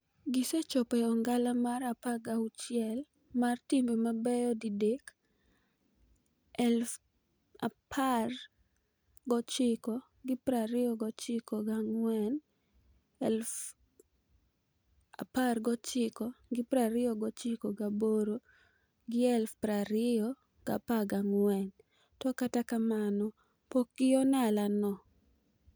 Gisechopo e ong'ala mar 16 mar timbe mabeyo didek - 1994, 1998 gi 2014 - to kata kamano pokgi on'ala no.